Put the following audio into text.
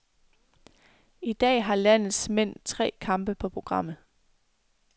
I dag har landets mænd tre kampe på programmet.